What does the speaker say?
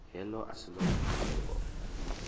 heḽo a si ḽone fhungo